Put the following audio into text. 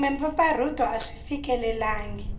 kumbe mpfampfarhuto a swi fikelelangi